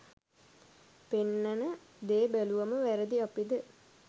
පෙන්නන දෙ බැලුවම වැරදි අපිද?